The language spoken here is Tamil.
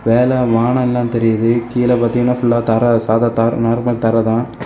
மேல வானம் எல்லாம் தெரியுது கீழ பாத்தீங்கன்னா ஃபுல்லா தர சாதா தர நார்மல் தர தா.